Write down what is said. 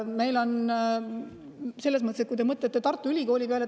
Mõelge Tartu Ülikooli peale.